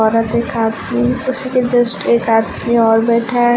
औरत एक आदमी उसी के जस्ट एक आदमी और बैठा है।